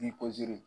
Ni